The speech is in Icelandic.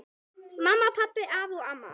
Mamma, pabbi, amma og afi.